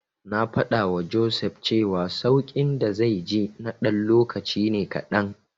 Na faɗawa Joseph cewa sauƙin da zai ji na ɗan lokaci ne kaɗan.